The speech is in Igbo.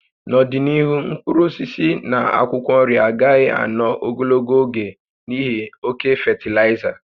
N'ọdịnihu, mkpụrụ osisi na akwụkwọ nri agaghị ànọ́ ogologo oge n'ihi oke fatịlaịza